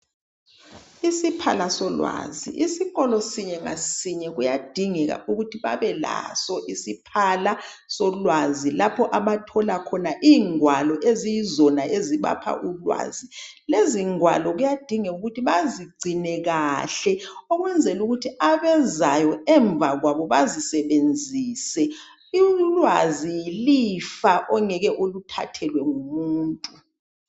Isiphala solwazi. Isikolo sinye ngasinye kuyadingeka ukuthi babelaso isiphala solwazi lapho abathola khona ingwalo eziyizona ezibapha ulwazi. Lezi ngwalo kuyadingeka ukuthi bazigcine kahle ukwenzela ukuthi abezayo emva kwabo bazisebenzise. Ulwazi yilifa ongeke ulithathelwe ngumuntu.